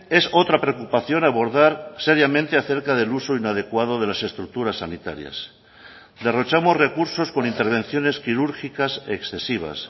es otra preocupación abordar seriamente acerca del uso inadecuado de las estructuras sanitarias derrochamos recursos con intervenciones quirúrgicas excesivas